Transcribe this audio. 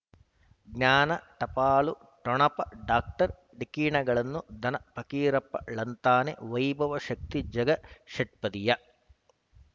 ಜ್ಞಾನ ಟಪಾಲು ಠೊಣಪ ಡಾಕ್ಟರ್ ಢಿಕ್ಕಿ ಣಗಳನು ಧನ ಫಕೀರಪ್ಪ ಳಂತಾನೆ ವೈಭವ್ ಶಕ್ತಿ ಝಗಾ ಷಟ್ಪದಿಯ